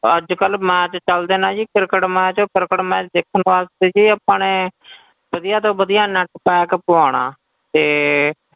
ਅੱਜ ਕੱਲ੍ਹ match ਚੱਲਦੇ ਨਾ ਜੀ cricketmatch ਕ੍ਰਿਕਟ match ਦੇਖਣ ਵਾਸਤੇ ਜੀ ਆਪਾਂ ਨੇ ਵਧੀਆ ਤੋਂ ਵਧੀਆ net pack ਪਵਾਉਣਾ ਤੇ,